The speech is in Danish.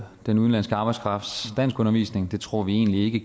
den udenlandske arbejdskrafts danskundervisning det tror vi egentlig ikke